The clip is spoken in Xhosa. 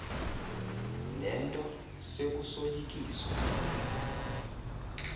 le nto sekusoyikiswa